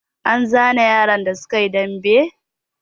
An zane yaran da suka yi dambe?